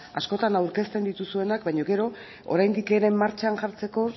askotan aurkezten dituzuenak baina gero oraindik ere martxan jartzeko